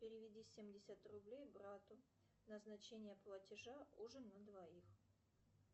переведи семьдесят рублей брату назначение платежа ужин на двоих